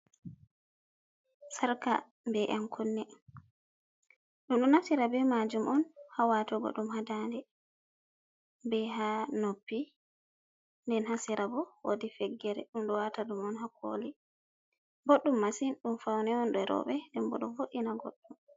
Sarka be’ yen kunne. Dum do naftira be majum on ha watugo dum ha nɗanɗe. Be ha noppi den ha serabo wodi feggere, dum do wata dum on ha koli boɗɗum masin. Ɗum fauni on ɗee robe. Ɗembo ɗo voddina goddo.